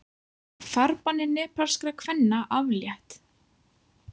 Farbanni nepalskra kvenna aflétt